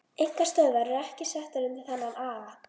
Einkastöðvarnar eru ekki settar undir þennan aga.